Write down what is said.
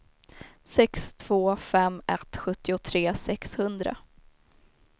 sex två fem ett sjuttiotre sexhundra